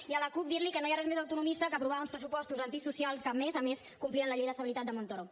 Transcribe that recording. i a la cup dir li que no hi ha res més autonomista que aprovar uns pressupostos antisocials que a més a més complien la llei d’estabilitat de montoro